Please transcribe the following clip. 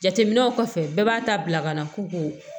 Jateminɛw kɔfɛ bɛɛ b'a ta bila ka na ko